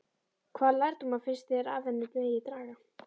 Hvaða lærdóma finnst þér af henni megi draga?